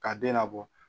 Ka den labɔ